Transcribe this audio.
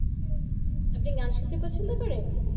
আপনি গান শুনতে পছন্দ করেন